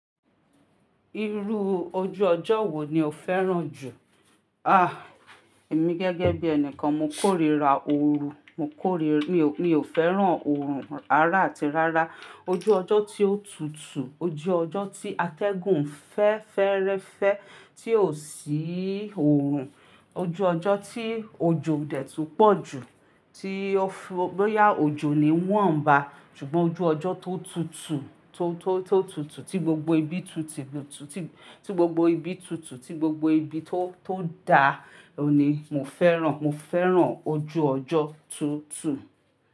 Irú ojú ọjọ́ wo ni o fẹ́ràn jù? Ah! Èmi gẹ́gẹ́ bí ẹnikan mo kórìíra ooru, mo kórìíra, mi, mi ò fẹ́ràn oorun ara àti rárá. Ojú ọjọ́ tí ó tutù, ojú ọjọ́ tí atẹ́gùn fẹ́ ferẹ́fẹ́ tí ò sí oorun, ojú ọjọ́ tí òjò odẹ̀ tú pọ̀ jù, tí ọ́fú bo ya òjò ni wọ̀n ba. Ṣùgbọ́n ojú ọjọ́ tó tutù, tó, tó, tó tutù, tí gbogbo ibi tutù, tí gbogbo ibi tutù, tí gbogbo ibi tó, tó da ni mo fẹ́ràn. Mo fẹ́ràn ojú ọjọ́ tútù.